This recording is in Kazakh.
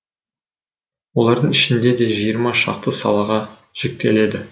олардың ішінде де жиырма шақты салаға жіктеледі